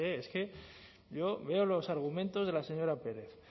es que yo veo los argumentos de la señora pérez